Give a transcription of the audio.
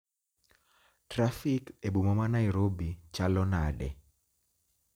trafik e boma ma Nairobi chalo nade?